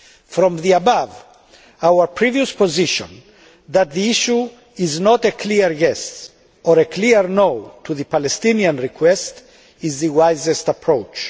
From the above, our previous position that the issue is not a clear yes' or a clear no' to the Palestinian request is the wisest approach.